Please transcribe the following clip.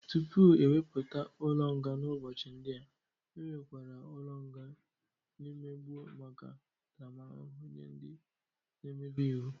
Tupu ewepụta ụlọ nga n'ụbọchị ndị a, enwerekwara ụlọ nga n'mgbe gboo maka ntaramahụhụ nye ndị nemebi iwu.